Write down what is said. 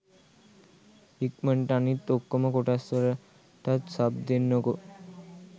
ඉක්මනටම අනිත් ඔක්කොම කොටස් වලටත් සබ් දෙන්නකෝ